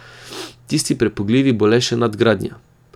Tisti prepogljivi bo le še nadgradnja.